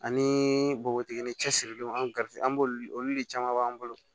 Ani bogotigini cɛsirilenw an ga an b'olu olu de caman b'an bolo